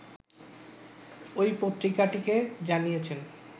ওই পত্রিকাটিকে জানিয়েছেন